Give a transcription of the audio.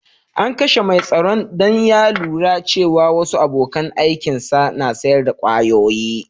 An kashe mai tsaron dan ya lura cewa wasu abokan aikin sa na sayar da kwayoyi.